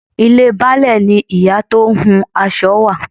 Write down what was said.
Ilé Baálẹ̀ ni ìyá tó ń hun aṣọ wà.